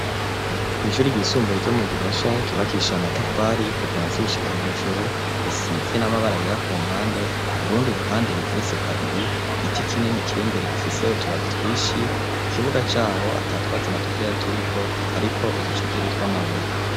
Kw'ishuru irgisumbuye ryo mu gihosha kibakisha amatafari kuvansi gushika hejuru risize n'amabara yera ku mpande urundi ruhande rigerese kabiri igiti kinini kirimbere gifiseho tubabitwishi ikibuga caho atatwatsi na dukeya turiko, ariko uducekeri twa amabuye.